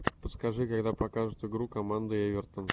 подскажи когда покажут игру команды эвертон